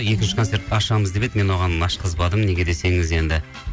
екінші концертті ашамыз деп еді мен оған ашқызбадым неге десеңіз енді